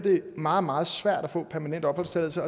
meget meget svært at få permanent opholdstilladelse